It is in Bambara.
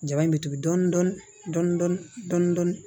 Jaba in bɛ tugu dɔɔni dɔɔni dɔɔni dɔɔni